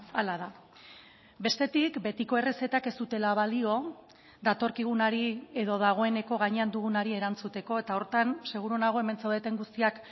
hala da bestetik betiko errezetak ez dutela balio datorkigunari edo dagoeneko gainean dugunari erantzuteko eta horretan seguru nago hemen zaudeten guztiak